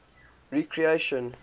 recreation